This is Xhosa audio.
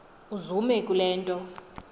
uzume kule nto